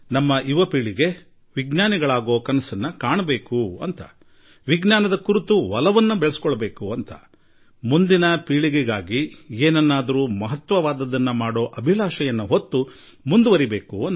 ನಮ್ಮ ನವ ಪೀಳಿಗೆ ಕೂಡ ವಿಜ್ಞಾನಿಗಳಾಗುವ ಕನಸು ಕಾಣಲಿ ವಿಜ್ಞಾನದಲ್ಲಿ ಆಸಕ್ತಿ ಮೂಡಿಸಿಕೊಳ್ಳಲಿ ಎಂದು ನಾನು ಮೊದಲಿನಿಂದಲೂ ನಂಬಿಕೆ ಇಟ್ಟಿದ್ದೇನೆ ಮತ್ತು ನಮ್ಮ ಯುವಕರು ಮುಂದಿನ ಪೀಳಿಗೆಗಳಿಗಾಗಿ ಏನಾದರೂ ಮಾಡಿ ಹೋಗುವ ಉತ್ಸಾಹದೊಂದಿಗೆ ಮುಂದಡಿ ಇಡಬೇಕು